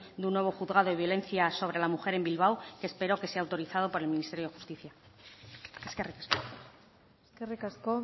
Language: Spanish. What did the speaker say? de un nuevo juzgado de violencia sobre la mujer en bilbao que espero que sea autorizado por el ministerio de justicia eskerrik asko eskerrik asko